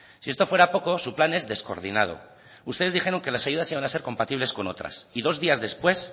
si esto fuera poco su plan es descoordinado ustedes dijeron que las ayudas iban a ser compatibles con otras y dos días después